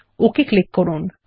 okay click করুন